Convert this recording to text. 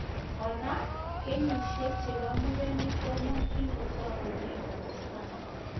Koraa, kenyishek chepk murenik komeng'is kotakunei kotesoksei